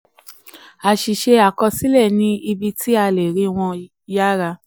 àṣìṣe àkọsílẹ ní ibi tí a le rí wọn yára.